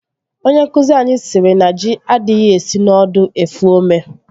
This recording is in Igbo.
Onye nkụzi anyị siri na ji adịghị esi n'ọdụ efu ome